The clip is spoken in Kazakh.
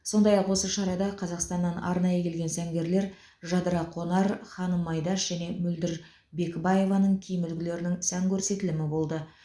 сондай ақ осы шарада қазақстаннан арнайы келген сәнгерлер жадыра қонар ханым айдаш және мөлдір бекібаеваның киім үлгілерінің сән көрсетілімі болды